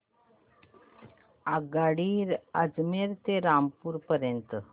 आगगाडी अजमेर ते रामपूर पर्यंत